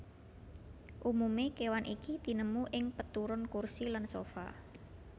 Umume kewan iki tinemu ing peturon kursi lan sofa